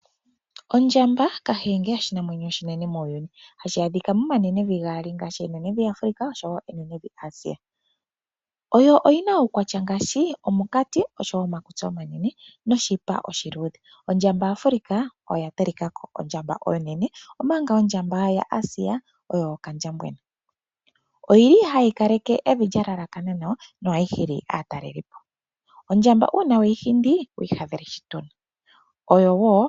Ondjamba, Kahenge, oshinamwenyo oshinene muuyuni, hashi adhika momanenevi gaali ngaashi Nambia Africa oshowo enenevi Asia. Oyina uukwatya ngaashi omunkati, omakutsi omanene noshipa oshiluudhe. Ondjamba-Africa oyo yatalikako Ondjamba onene omanga ondjamba-Asia oyo okandjambwena. Ohayi kaleke evi lyalalakana nawa nohayi hili aatalelipo. Ondjamba uuna weyi hindi, owi ihadhela shituna.